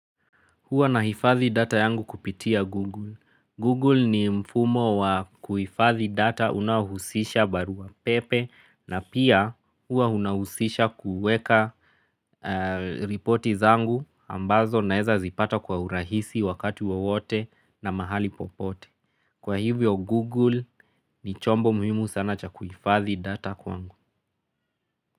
Huwa na hifadhi data yangu kupitia Google. Google ni mfumo wa kuhifadhi data unahusisha barua pepe na pia huwa unahusisha kuweka reporti zangu ambazo naeza zipata kwa urahisi wakati wowote na mahali popote. Kwa hivyo Google ni chombo muhimu sana cha kuhifadhi data kwangu.